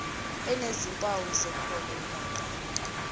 enezimpawu zekhono engaqala